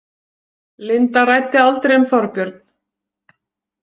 Linda ræddi aldrei um Þorbjörn?